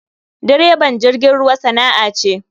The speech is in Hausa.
Direban jirgin ruwa sana'a ce.